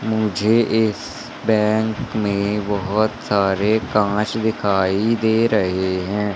मुझे इस बैंक में बहोत सारे कांच दिखाई दे रहे हैं।